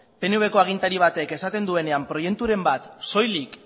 pnv ko agintari batek esaten duenean proiekturen bat soilik